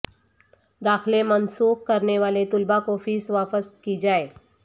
داخلے منسوخ کرنے والے طلبہ کو فیس واپس کی جائے